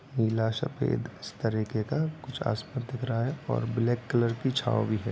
पीला सफ़ेद इस तरह के कुछ आस-पास दिख रहा है और ब्लैक कलर की छांव भी है।